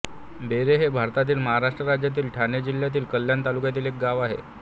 बेरे हे भारतातील महाराष्ट्र राज्यातील ठाणे जिल्ह्यातील कल्याण तालुक्यातील एक गाव आहे